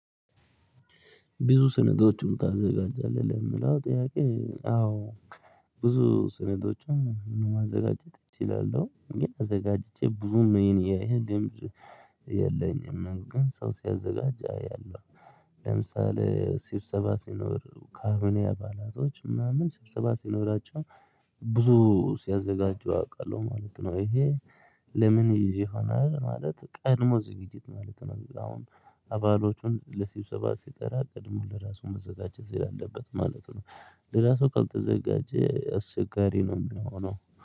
ብዙ ስነዶችን ታዘጋጃለህ የምለው ጥያቄ አዎ። ብዙ ስነዶችን ማዘጋጀት እችላለሁ ግን አዘጋጅቼ ብዙም ነው የኔ ያየኝ። የለኝም ግን ሰው ሲያዘጋጅ አያለሁ። ለምሳሌ ሲብሰባ ሲኖር ካምፕኒ አባላቶች ምናምን ስብሰባ ሲኖራቸው ብዙ ሲያዘጋጁ አውቃለሁ ማለት ነው። ይሄ ለምን ይሄ ይሆናል ማለት ቀድሞ ዝግጅት ማለት ነው። አሁን አባሎቹን ለሲብሰባ ሲጠራ ቀድሞ ለራሱ መዘጋጀት ይላል አለበት ማለት ነው። ለራሱ ካልተዘጋጀ አስቸጋሪ ነው የሚሆነው